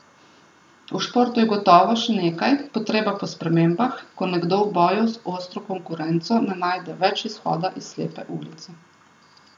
V športu je gotovo še nekaj, potreba po spremembah, ko nekdo v boju z ostro konkurenco ne najde več izhoda iz slepe ulice.